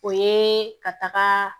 O ye ka taga